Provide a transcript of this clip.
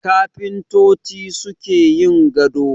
Kafintoci su suke yin gado